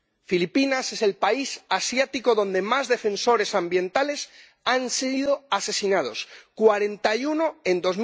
Filipinas es el país asiático donde más defensores ambientales han sido asesinados cuarenta y uno en